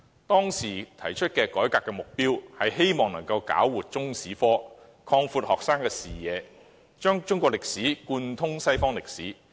當時提出改革的目標是搞活中史科，擴闊學生的視野，讓中史貫通西方歷史。